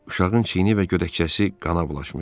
Uşağın çiyini və gödəkcəsi qana bulaşmışdı.